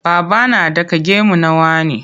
Baba na ɗaka gemu na wane.